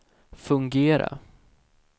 fungera